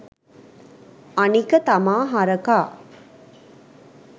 අනික තමා හරකා